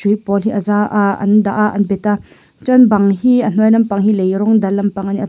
a pawl hi a za a ah an dah a an pet a chuan bang hi a hnuai lampang hi lei rawng dal lampang ani a--